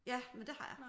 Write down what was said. Ja men det har jeg